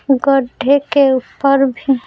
गड्ढे के ऊपर भी--